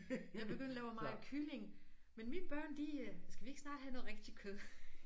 Jeg begyndte og lave meget kylling men mine børn de øh skal vi ikke snart have noget rigtig kød